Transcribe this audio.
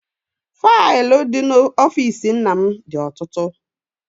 Faịlụ dị n'ọfịịsi nna m dị ọtụtụ.